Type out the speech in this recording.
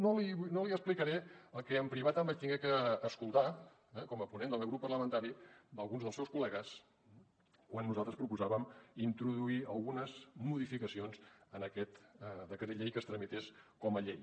no li explicaré el que en privat em vaig haver de sentir eh com a ponent del meu grup parlamentari d’alguns dels seus col·legues quan nosaltres proposàvem introduir algunes modificacions en aquest decret llei que es tramités com a llei